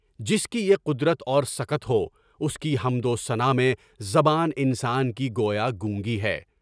جس کی یہ قدرت اور سکت ہے اس کی حمدوثنا میں زبان انسان کی گویائی نگوں ہے۔